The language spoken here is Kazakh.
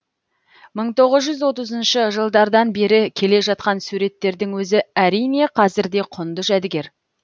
мың тоғыз жүз отызыншы жылдардан бері келе жатқан суреттердің өзі әрине қазір де құнды жәдігер